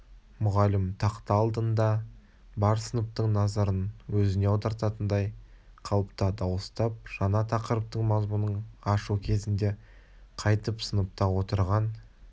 мұғалім тақта алдында бар сыныптың назарын өзіне аударатындай қалыпта дауыстап жаңа тақырыптың мазмұнын ашу кезінде қайтіп сыныпта отырған